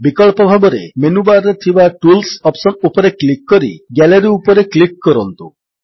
ବିକଳ୍ପ ଭାବରେ menu bar ରେ ଥିବା ଟୁଲ୍ସ ଅପ୍ସନ୍ ଉପରେ କ୍ଲିକ୍ କରି ଗାଲେରୀ ଉପରେ କ୍ଲିକ୍ କରନ୍ତୁ